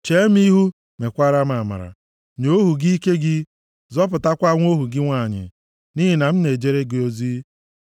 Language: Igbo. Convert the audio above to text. Chee m ihu, mekwaara m amara. Nye ohu gị ike gị, zọpụtakwa nwa ohu gị nwanyị nʼihi na m na-ejere gị ozi.